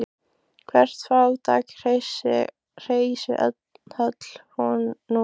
Hvert fátækt hreysi höll nú er.